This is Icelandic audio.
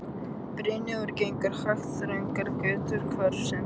Brynjólfur gengur hægt þröngar götur hverfisins.